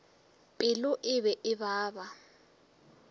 pelo e be e baba